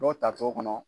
Dɔw ta t'o kɔnɔ